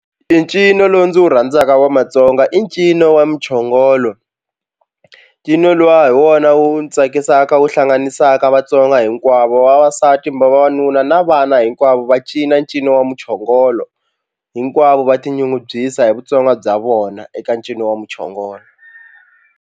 I ncino lowu ndzi wu rhandzaka wa matsonga i ncino wa muchongolo ncino luwa hi wona wu ni tsakisaka wu hlanganisaka Vatsonga hinkwavo vavasati mba vavanuna na vana hinkwavo va cina ncino wa muchongolo hinkwavo va tinyungubyisa hi vutsonga bya vona eka ncino wa muchongolo.